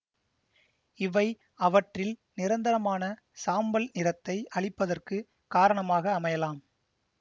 இவை அவற்றில் நிரந்தரமான சாம்பல் நிறத்தை அளிப்பதற்கு காரணமாக அமையலாம்